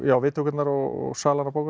viðtökurnar og salan á bókunum